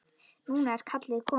Núna er kallið komið.